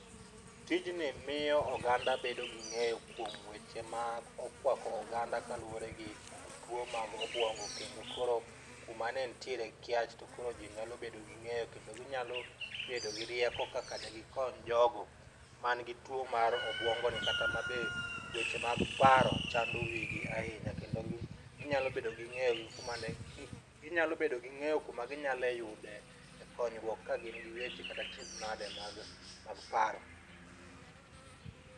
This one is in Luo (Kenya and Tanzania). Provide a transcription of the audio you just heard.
Tijni miyo oganda bedo gi ng'eyo kuom weche ma okwako oganda kaluwore gi tuo mag obwongo kendo koro kuma ne ntiere kiach to koro jii nyalo bedo gi ng'eyo keno ginyalo bedo gi rieko kaka de gikony jogo man gi tuo mar obuongo ni kata ma be weche mag paro chando wigi ahinya, kendo ginyalo bedo gi ngeyo gi kuma ne ginyalo bedo gi ng'eyo kuma ginyalo yude konyruok ka gin gi weche kata achiedh nade mag mag paro.